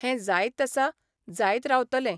हें जायत आसा, जायत रावतलें.